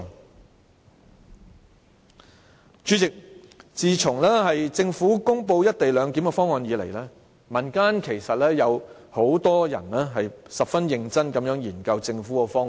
代理主席，自從政府公布"一地兩檢"的方案以來，民間有很多人曾十分認真地研究政府的方案。